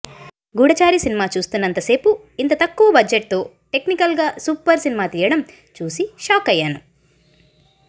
గూఢచారి cinema చూస్తున్నంతసేపు ఇంత తక్కువ బడ్జెట్తో టెక్నికల్గా సూపర్ సినిమా తీయడం చూసి షాక్అయ్యాను